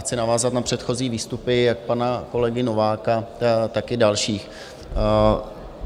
Chci navázat na předchozí výstupy, jak pana kolegy Nováka, tak i dalších.